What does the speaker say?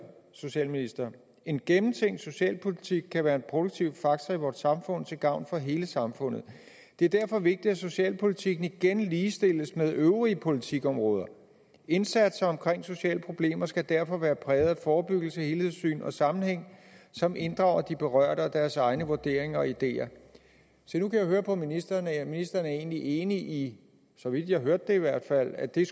socialministre en gennemtænkt socialpolitik kan være en produktiv faktor i vort samfund til gavn for hele samfundet det er derfor vigtigt at socialpolitikken igen ligestilles med øvrige politikområder indsatser omkring sociale problemer skal derfor være præget af forebyggelse helhedssyn og sammenhæng som inddrager de berørte og deres egne vurderinger og ideer se nu kan jeg høre på ministeren at ministeren egentlig er enig i så vidt jeg hørte det i hvert fald at det